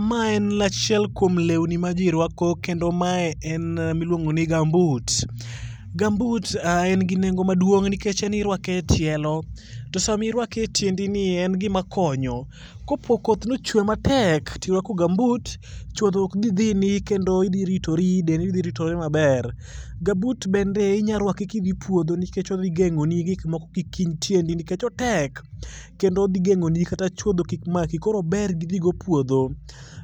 Ma en achiel kuom lewni ma ji rwako kendo mae en miluongo ni gambut. Gambut en gi nengo maduong' nikech en iruake e tielo to sama iruake etiendi. Kopo ni koth ochwe maek to irwako gambut chuodho ok dhi dhini kendo idhi ritori dendi dhi ritore maber. Gambut bende inyalo ruako kidhi puodho nikech odhi geng'oni gik moko kik hiny tiendi nikech otek. Kendo odhi geng'oni kata chuodho kik maki koro ober gidhi godo e puodho.